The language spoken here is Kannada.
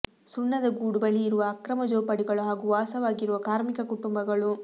ಸುಣ್ಣದ ಗೂಡು ಬಳಿ ಇರುವ ಅಕ್ರಮ ಜೋಪಡಿಗಳು ಹಾಗೂ ವಾಸವಾಗಿರುವ ಕಾರ್ಮಿಕ ಕುಟುಂಬಗಳು